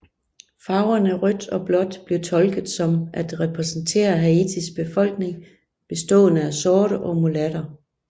Farverne rødt og blåt blev tolket som at repræsentere Haitis befolkning bestående af sorte og mulatter